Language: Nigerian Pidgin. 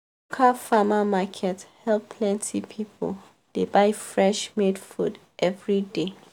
cal farmer market help plenty people dey buy fresh made food every day.